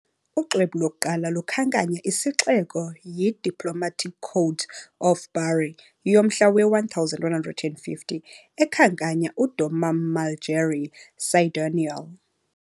Uxwebhu lokuqala olukhankanya isixeko yi "Diplomatic Code of Bari", yomhla we-1150, ekhankanya " "domum Malgerii Cidoniole" ".